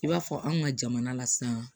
I b'a fɔ anw ka jamana la san